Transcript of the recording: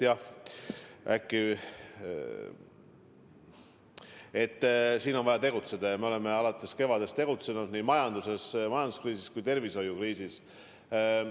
Jah, siin on vaja tegutseda, ja me oleme alates kevadest tegutsenud nii majanduskriisi kui tervishoiukriisi leevendamise nimel.